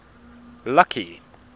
lucky